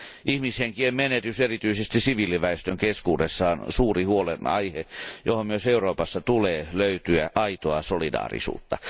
Ihmishenkien menetys erityisesti siviiliväestön keskuudessa on suuri huolenaihe, johon myös Euroopassa tulee löytyä aitoa solidaarisuutta.